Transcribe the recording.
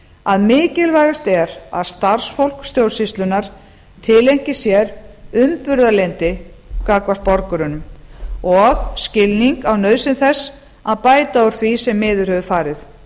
að mikilvægast er að starfsfólk stjórnsýslunnar tileinki sér umburðarlyndi gagnvart borgurunum og skilning á nauðsyn þess að bæta úr því sem miður hefur farið